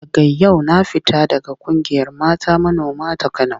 Daga yau na fita daga ƙungiyar mata manoma ta Kano.